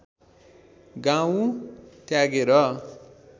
गाउँ त्यागेर